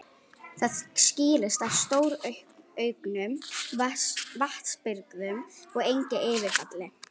Það skýrist af stórauknum vatnsbirgðum og engu yfirfalli.